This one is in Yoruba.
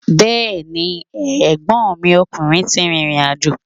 Bẹ́ẹ̀ni, ẹ̀gbọ́nmi ọkùnrin ti rìrìn àjò.